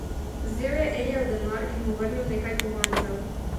Vzel je Elijev denar in mu vrnil nekaj kovancev.